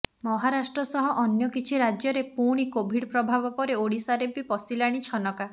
ମହାରାଷ୍ଟ୍ର ସହ ଅନ୍ୟ କିଛି ରାଜ୍ୟରେ ପୁଣି କୋଭିଡ୍ ପ୍ରଭାବ ପରେ ଓଡ଼ିଶାରେ ବି ପଶିଲାଣି ଛନକା